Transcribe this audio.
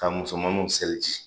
Ka musomanu seliji